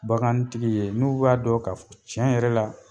Bagantigi ye n'u b'a dɔn ka f ɔ cɛ yɛrɛ la